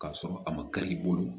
K'a sɔrɔ a ma kari i bolo